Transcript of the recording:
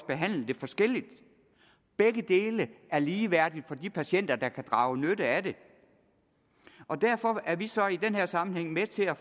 behandle det forskelligt begge dele er ligeværdige for de patienter der kan drage nytte af dem og derfor er vi så i den her sammenhæng med til at